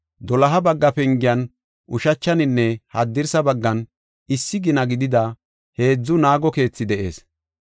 Doloha bagga pengiyan ushachaninne haddirsa baggan issi gina gidida heedzu naago keethi de7ees.